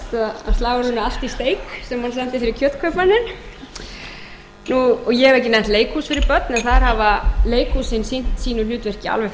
fyrir kjötkaupmanninn ég hef ekki nefnt leikhús fyrir börn en þar hafa leikhúsin sinnt sínu hlutverki alveg